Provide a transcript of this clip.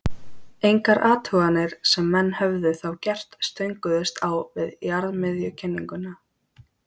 Engar athuganir sem menn höfðu þá gert stönguðust á við jarðmiðjukenninguna.